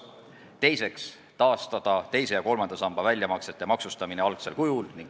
Teiseks tahame taastada teise ja kolmanda samba väljamaksete maksustamise algsel kujul.